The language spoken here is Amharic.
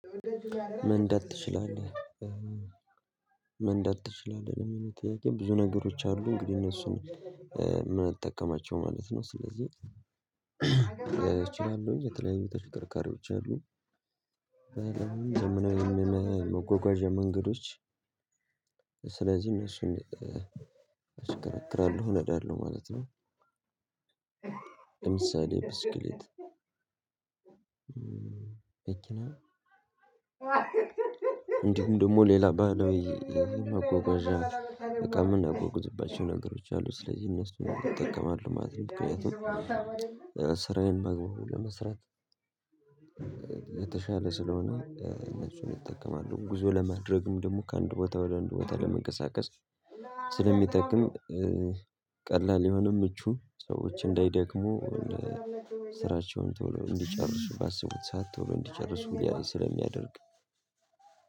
መንዳት ትችላለህ ለሚለው ጥያቄ ብዙ ነገሮች አሉ እንግዲህ እነሱን የምንጠቀማቸው ማለት ነው። ስለዚህ እችላለሁኝ የተለያዩ ተሽከርካሪዎች አሉ መጓጓዣ መንገዶች ስለዚህ እነሱን አሽከረክራለሁ እነዳለሁ ማለት ነው። ለምሳሌ ብስክሌት እንዲሁም ደግሞ ሌላ ባህላዊ መጓጓዣ እቃ የምናጓጉዝባቸው ነገሮች አሉ ስለዚህ እነሱን እጠቀማለሁ ማለት ነው። ምክንያቱም ስራዬን በአግባቡ ለመስራት የተሻለ ስለሆነ እነሱን እጠቀማለሁ ጉዞ ለማድረግም ደግሞ ከአንድ ቦታ ወደ አንድ ቦታ ለመንቀሳቀስ ስለሚጠቅም ቀላል የሆነ ምቹ ሰዎች እንዳይደክሙ ስራቸውን ቶሎ እንዲጨርሱ ባሰቡት ሰዓት ቶሎ እንዲጨርሱ ያን ስለሚያደርግ